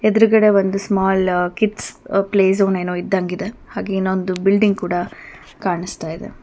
ಎದುರುಗಡೆ ಒಂದು small kids play zone ಏನು ಇದ್ದಂಗಿದೆ ಹಾಗೆ ಇನ್ನೊಂದು ಬಿಲ್ಡಿಂಗ್ ಕೂಡ ಕಾಣಿಸ್ತಾ ಇದೆ.